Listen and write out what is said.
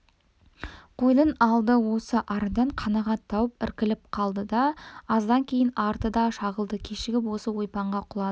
қойдың алды осы арадан қанағат тауып іркіліп қалды да аздан кейін арты да шағылды кешіп осы ойпаңға құлады